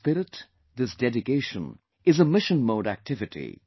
This spirit, this dedication is a mission mode activity